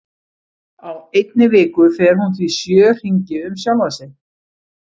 Á einni viku fer hún því sjö hringi um sjálfa sig.